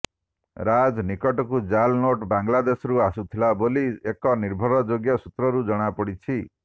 ରାଜ ନିକଟକୁ ଜାଲ୍ ନୋଟ୍ ବାଂଲାଦେଶରୁ ଆସୁଥିଲା ବୋଲି ଏକ ନିର୍ଭରଯୋଗ୍ୟ ସୂତ୍ରରୁ ଜଣାପଡିଛି